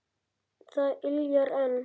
Það yljar enn.